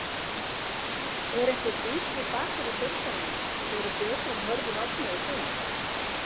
Er einhver vinstri bakvörður deildarinnar verið betri en Hörður Árna í sumar?